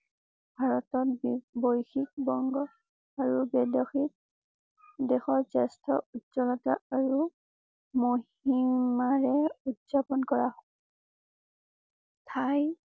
ভাৰতত বৈশ্বিক বংগ আৰু দেশৰ জেষ্ঠ উজ্জ্বলতা আৰু মহিমাৰে উদযাপন কৰা হয়। ঠাই।